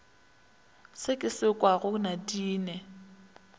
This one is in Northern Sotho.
se ke se kwago nadine